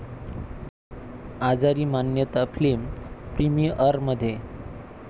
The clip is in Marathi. आजारी मान्यता फिल्म प्रिमिअरमध्ये!